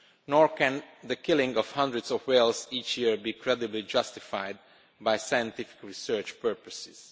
Nor can the killing of hundreds of whales each year be credibly justified by scientific research purposes.